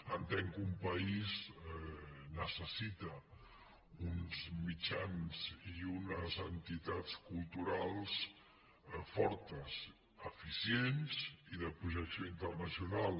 entenc que un país necessita uns mitjans i unes entitats culturals fortes eficients i de projecció internacional